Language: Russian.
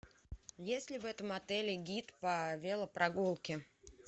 есть ли в этом отеле гид по велопрогулке